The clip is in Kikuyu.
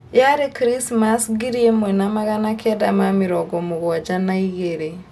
yaarĩ Krismasi ngiri ĩmwe na magana kenda na mĩrongo mũgwanja na igĩrĩ